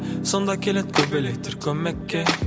сонда келеді көбелектер көмекке